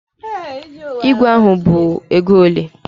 Ígwè ahụ bụ ego ole?